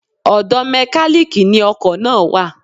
Ọ̀dọ̀ Mẹ́kálíkì ni ọkọ̀ náà wà.